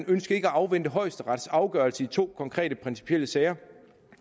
ønskede at afvente højesterets afgørelse i to konkrete principielle sager